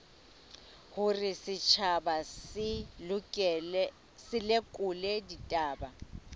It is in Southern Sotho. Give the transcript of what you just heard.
hore setjhaba se lekole ditaba